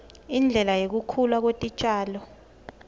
indlela yekukhula kwetitjalo